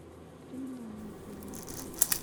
криминальные фильмы